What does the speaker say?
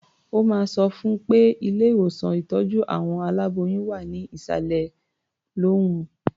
Mo máa sọ fún un pé ilé-ìwòsàn ìtọ́jú àwọn aláboyún wà ní ìsàlẹ̀ lọ́hùn-ún.